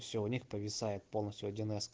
все у них повисает полностью один эс